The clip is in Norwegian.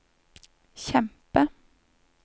kjempe